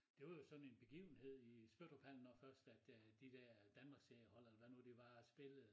Det var jo sådan en begivenhed i Spøttruphallen når først at øh de dér danmarkseriehold eller hvad det nu var spillede